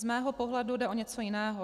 Z mého pohledu jde o něco jiného.